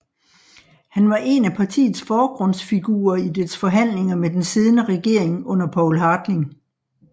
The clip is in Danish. Han var en af partiets forgrundsfigurer i dets forhandlinger med den siddende regering under Poul Hartling